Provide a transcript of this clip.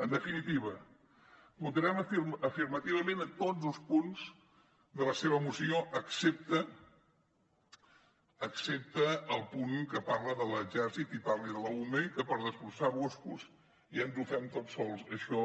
en definitiva votarem afirmativament tots els punts de la seva moció excepte el punt que parla de l’exèrcit i parla de l’ume que per desbrossar boscos ja ens ho fem tot sols això